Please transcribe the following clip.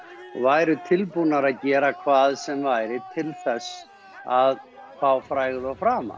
væru tilbúnar að gera hvað sem væri til þess að fá frægð og frama